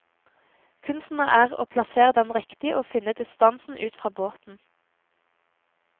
Kunsten er å plassere den riktig og finne distansen ut fra båten.